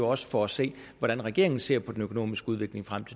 også får at se hvordan regeringen ser på den økonomiske udvikling frem